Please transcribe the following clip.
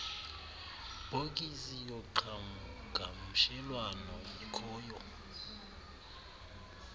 bhokisi yoqhagamshelwano ikhoyo